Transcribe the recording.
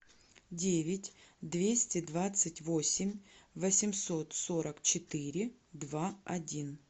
девять двести двадцать восемь восемьсот сорок четыре два один